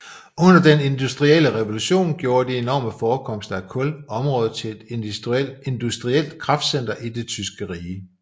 Under den industrielle revolution gjorde de enorme forekomster af kul området til et industrielt kraftcenter i det tyske rige